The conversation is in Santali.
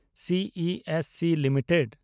C E S C limited